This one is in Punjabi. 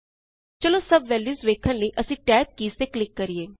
ਚਲੋ ਸੱਬ ਵੈਲਯੂਜ਼ ਵੇਖਣ ਲਈ ਅਸੀਂ ਟੈਬ ਕੀਜ਼ ਤੇ ਕਲਿਕ ਕਰਿਏ